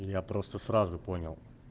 я просто сразу понял